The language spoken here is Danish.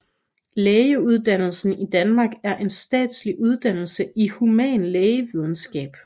Lægeuddannelsen i Danmark er en statslig uddannelse i human lægevidenskab